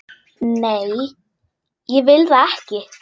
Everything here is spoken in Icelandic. Nei, ég vil það ekki.